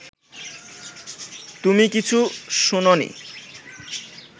তুমি কিছু শোনোনি